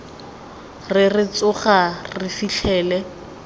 re re tsoga re fitlhele